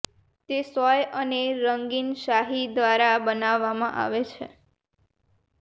તે સોય અને રંગીન શાહી દ્વારા બનાવવામાં આવે છે